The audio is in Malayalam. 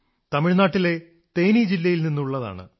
തമിഴ്നാട്ടിലെ തേനി ജില്ലയിൽ നിന്നുള്ളതാണ്